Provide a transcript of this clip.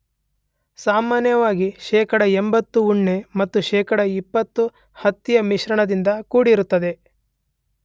ಸಾಮಾನ್ಯವಾಗಿ ಶೇಖಡ 80 ಉಣ್ಣೆ ಮತ್ತು ಶೇಖಡ 20 ಹತ್ತಿಯ ಮಿಶ್ರಣದಿಂದ ಕೂಡಿರುತ್ತದೆ.